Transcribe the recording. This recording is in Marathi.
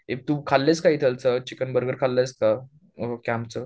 ए तू खाल्लेस का इथलच चिकन बर्गर खाल्लेयस का? कॅम्प चं